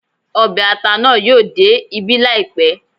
Ọbẹ̀ ata naa yóò dé ibí láìpẹ́